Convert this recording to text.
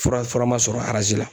Fura, fura ma sɔrɔ la.